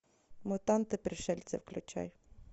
мутанты пришельцы включай